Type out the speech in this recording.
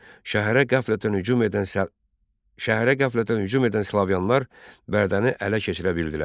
Şəhərə qəflətən hücum edən Slavyanlar Bərdəni ələ keçirə bildilər.